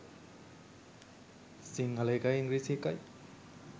සිංහල එකයි ඉංග්‍රීසි එකයි